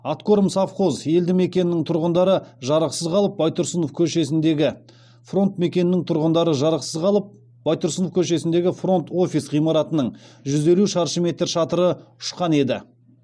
откормсовхоз елді мекенінің тұрғындары жарықсыз қалып байтұрсынов көшесіндегі фронт офис ғимаратының жүз елу шаршы метр шатыры ұшқан еді